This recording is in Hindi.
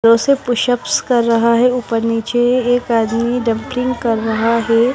पुश अप कर रहा है ऊपर नीचे एक आदमी डंपलिंग कर रहा है।